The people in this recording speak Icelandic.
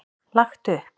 Lagt upp.